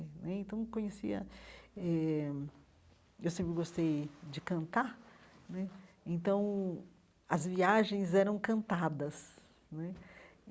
Né então conhecia eh eu sempre gostei de cantar né, então as viagens eram cantadas né.